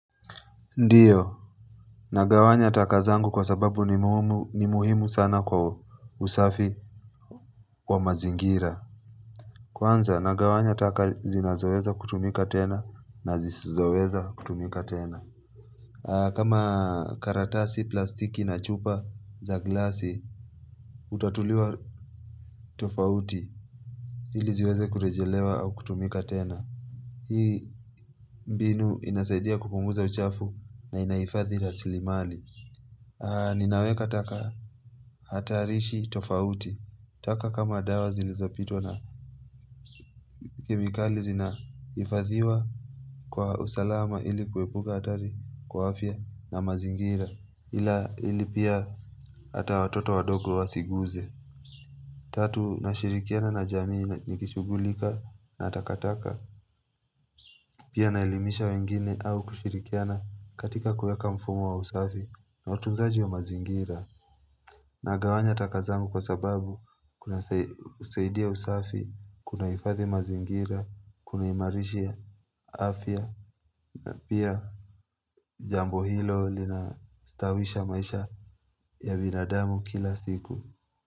Ndiyo, nagawanya taka zangu kwa sababu ni muhimu sana kwa usafi wa mazingira Kwanza, nagawanya taka zinazoweza kutumika tena na zisizoweza kutumika tena kama karatasi, plastiki na chupa za glasi, hutatuliwa tofauti Hili ziweze kurejelewa au kutumika tena Hii mbinu inasaidia kupunguza uchafu na inahifadhi rasilimali Ninaweka taka hatarishi tofauti taka kama dawa zilizopitwa na kemikali zinaifadhiwa kwa usalama ilikuwepuka hatari kwa afya na mazingira Ila ilipia hata watoto wadogo wasiguze Tatu, nashirikiana na jamii nikishugulika na takataka Pia naelimisha wengine au kushirikiana katika kuyaka mfumo wa usafi na utunzaji wa mazingira Nagawanya taka zangu kwa sababu kuna sai saidia usafi, kunaifathi mazingira, kunaimarishia, afya, na pia jambo hilo linastawisha maisha ya binadamu kila siku.